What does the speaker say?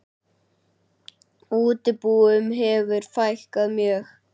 Útibúum hefur fækkað mjög.